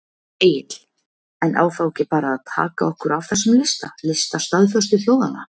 Egill: En á þá ekki bara að taka okkur af þessum lista, lista staðföstu þjóðanna?